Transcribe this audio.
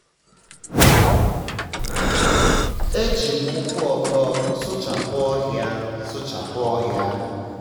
e ji m ụkwụ um ọtọ um sụchapụ ohia. um sụchapụ ohia.